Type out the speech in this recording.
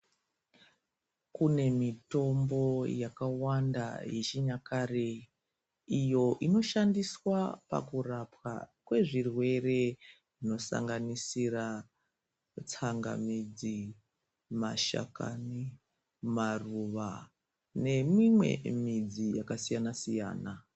Kune mitombo yakawanda iyo yechinyakare inoshandiswa pakurapa kwezvirwere zvinosanganisira tsangamidzi, mashakani, maruva nemimwe midzi yakasiyana siyana.